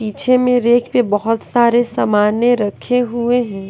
पीछे में रैक पे बहुत सारे सामानें रखे हुए हैं।